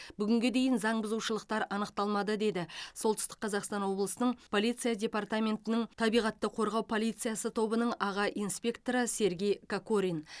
бүгінге дейін заң бұзушылықтар анықталмады деді солтүстік қазақстан облысының полиция депортаментінің табиғатты қорғау полициясы тобының аға инспекторы сергей кокорин